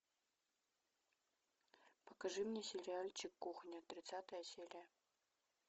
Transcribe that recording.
покажи мне сериальчик кухня тридцатая серия